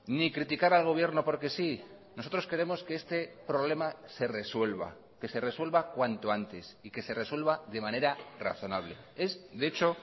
ni criticar al gobierno porque sí nosotros queremos que este problema se resuelva que se resuelva cuanto antes y que se resuelva de manera razonable es de hecho